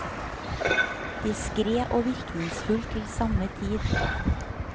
Diskret og virkningsfullt til samme tid.